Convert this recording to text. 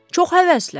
Çox həvəslə.